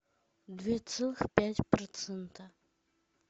две целых пять процента